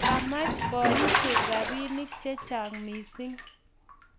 kamach baishek rabinik chechang mising